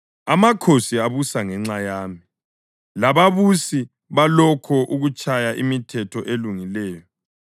Amakhosi abusa ngenxa yami lababusi balakho ukutshaya imithetho elungileyo;